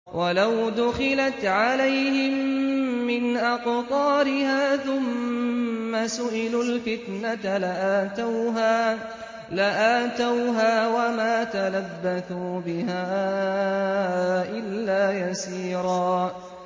وَلَوْ دُخِلَتْ عَلَيْهِم مِّنْ أَقْطَارِهَا ثُمَّ سُئِلُوا الْفِتْنَةَ لَآتَوْهَا وَمَا تَلَبَّثُوا بِهَا إِلَّا يَسِيرًا